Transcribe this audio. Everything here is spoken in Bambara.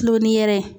Kulon ni yɛrɛ ye